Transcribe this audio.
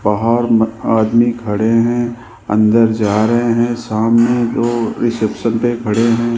बाहर म आदमी खड़े हैं अंदर जा रहे हैं सामने दो रिसेप्शन पे खड़े हैं।